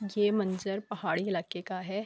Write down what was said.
یہ منظر پہاڈی الاکے کا ہے۔